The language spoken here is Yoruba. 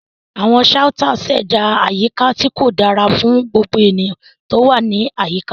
Àwọn shouters ṣẹ̀dá àyíká tí kò dára fún gbogbo ènìyàn tó wà ní àyíká.